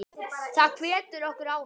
Það hvetur okkur áfram.